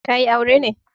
Ka yi aure ne?